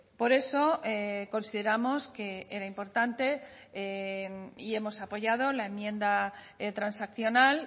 por eso consideramos que era importante y hemos apoyado la enmienda transaccional